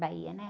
Bahia, né?